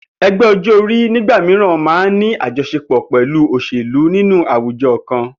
E̩gbé̩ o̩jó̩-orí nígbà mìíràn máa ń ní àjo̩s̩epò̩ pè̩lú òs̩èlú nínú àwujo̩ kan